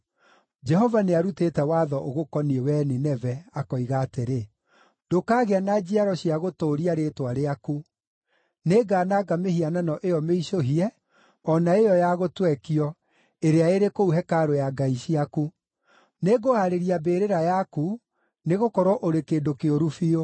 Jehova nĩarutĩte watho ũgũkoniĩ, wee Nineve, akoiga atĩrĩ, “Ndũkagĩa na njiaro cia gũtũũria rĩĩtwa rĩaku. Nĩngananga mĩhianano ĩyo mĩicũhie o na ĩyo ya gũtwekio ĩrĩa ĩrĩ kũu hekarũ ya ngai ciaku. Nĩngũhaarĩria mbĩrĩra yaku, nĩgũkorwo ũrĩ kĩndũ kĩũru biũ.”